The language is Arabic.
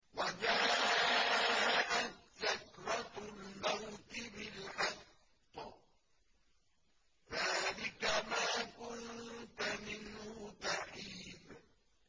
وَجَاءَتْ سَكْرَةُ الْمَوْتِ بِالْحَقِّ ۖ ذَٰلِكَ مَا كُنتَ مِنْهُ تَحِيدُ